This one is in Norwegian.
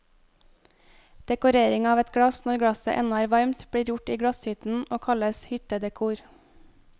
Dekorering av et glass når glasset ennå er varmt, blir gjort i glasshytten og kalles hyttedekor.